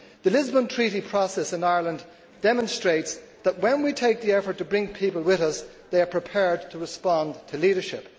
The Lisbon Treaty process in Ireland demonstrates that when we make the effort to bring people with us, they are prepared to respond to leadership.